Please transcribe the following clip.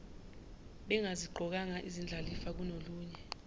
bengaziqokanga izindlalifa kunolunye